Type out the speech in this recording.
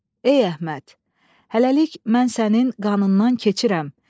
Ey Əhməd, hələlik mən sənin qanından keçirəm.